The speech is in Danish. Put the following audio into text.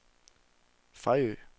Fejø